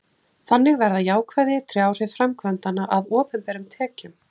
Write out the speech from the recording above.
þannig verða jákvæð ytri áhrif framkvæmdanna að opinberum tekjum